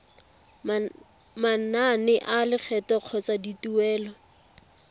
manane a lekgetho kgotsa dituelo